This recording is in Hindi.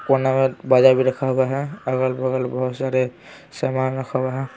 कोना में बाजा भी रखा हुआ है अगल-बगल बहुत सारे सामान रखा हुआ है।